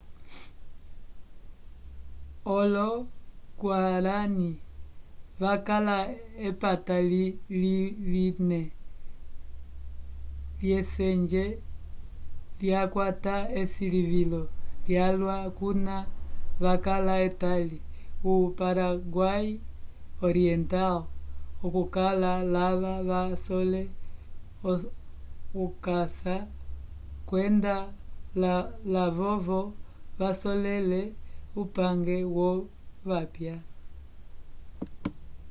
olo-guarani vakala epata lime lyusenge lyakwata esilivilo lyalwa kuna vakala etali o-paraguai oriental okukala lava vasole okasa kwenda lavovo vasolele upange wovapya